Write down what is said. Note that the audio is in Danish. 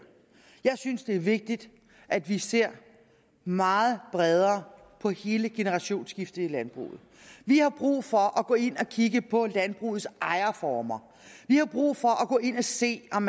jeg synes det er vigtigt at vi ser meget bredere på hele generationsskiftet i landbruget vi har brug for at gå ind og kigge på landbrugets ejerformer vi har brug for at gå ind og se om